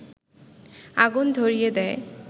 আগুন ধরিয়ে দেয়